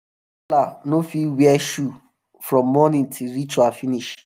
caller no fit wear shoe from morning till ritual finish um